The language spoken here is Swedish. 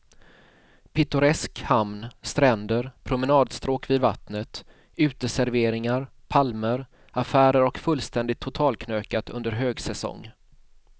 Pittoresk hamn, stränder, promenadstråk vid vattnet, uteserveringar, palmer, affärer och fullständigt totalknökat under högsäsong.